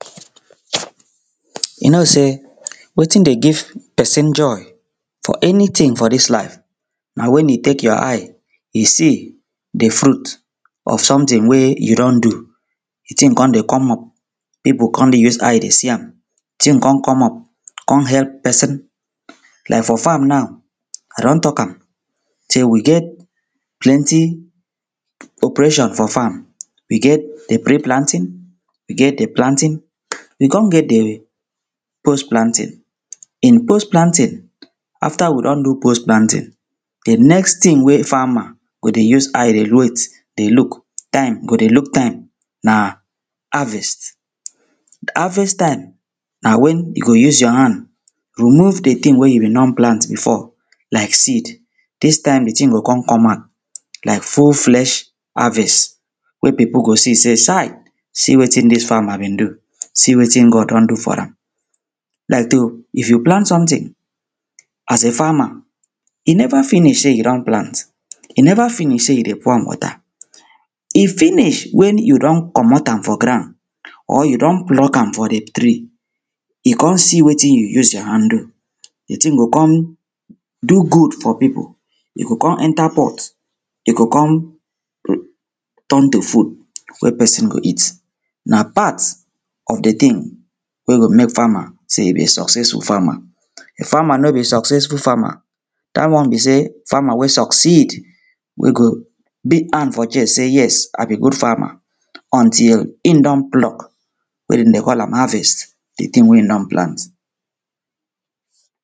you know sey wetin dey give pesin joy for enitin for dis life na wen you tek yor eye dey see di fruit of somtin wey you don do di ting con dey come up pipo con dey use eye dey see am di ting con come up con epp pesin laik for farm now i don tok am sey we get plenti operation for farm we get pre planting we get planting we con get di post planting in post planting afta we don do post planting di next ting wey farmer go dey use eye dey wait dey look time dem go dey look time na na harvest harvest taim na wen you go use yor hand remove di ting you bin done plant bifo laik seed dis taim di ting go con come out laik full flesh harvest wey pipo go see say sai see wetin dis farmer bin do see wetin god don do for am laik to if you plant sometin as a farmer e neva finish se you don plant e neva finish sey you dey pour am wata e finish wen you don comot am for grand or you don pluck am for di tree you con see wetin you use yor hand do di ting go con do good for pipo e go con enta pot e go con ton to food wey pesin go eat na part of di ting wey go mek farmer sey e be succesful farmer farmer no be successful farmer dat one be sey farmer wey succeed wey go lay hand for chest sey yes i be good farmer until im don pluck wey dem dey call am harvest di ting wey im don plant